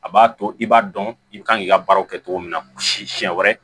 A b'a to i b'a dɔn i kan k'i ka baaraw kɛ cogo min na siɲɛ wɛrɛ